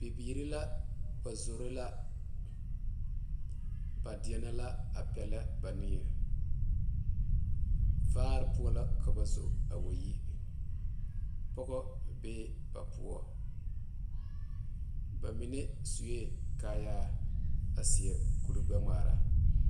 Bibiiri la ba zoro la ,ba deɛne la a peɛle ba niŋe vaare poɔ la ka ba zo a wa yi pɔge bee ba poɔ ba mine suɛ kaayaa a seɛ kuri gbɛ ŋmaare.